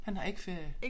Han har ikke ferie